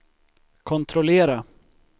kontrollera